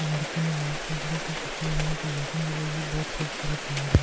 लड़के ने लाल कपड़े के कपड़े यहाँ पर लाइटिंग जल रही है बहुत खूबसूरत लग रहा --